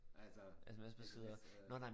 Altså sms øh